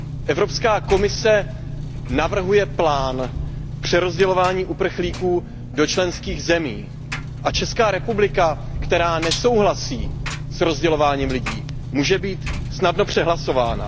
Evropská komise navrhuje plán na přerozdělování uprchlíků do členských zemí a Česká republika, která nesouhlasí s rozdělováním lidí, může být snadno přehlasována.